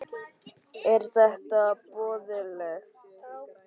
Er þetta boðlegt?